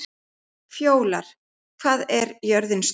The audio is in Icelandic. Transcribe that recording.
Fjólar, hvað er jörðin stór?